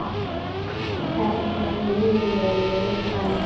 Hvernig viljum við lifa lífinu?